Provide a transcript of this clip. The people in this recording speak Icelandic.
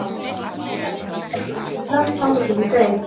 Ég hugsa að ég verði kölluð Lilla þangað til ég dey.